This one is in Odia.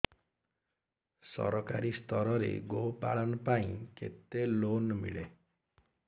ସରକାରୀ ସ୍ତରରେ ଗୋ ପାଳନ ପାଇଁ କେତେ ଲୋନ୍ ମିଳେ